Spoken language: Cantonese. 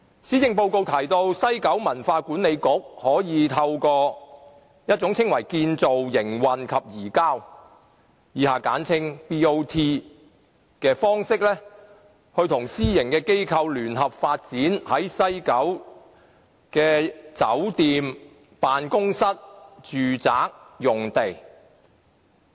施政報告提到西九文化區管理局可以透過稱為"建造、營運及移交"方式，跟私營機構聯合發展西九的酒店、辦公室和住宅用地。